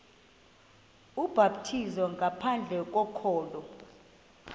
ubhaptizo ngaphandle kokholo